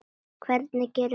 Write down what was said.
Hvernig gerum við slíkt?